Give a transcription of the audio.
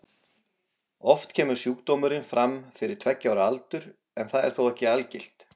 Oft kemur sjúkdómurinn fram fyrir tveggja ára aldur en það er þó ekki algilt.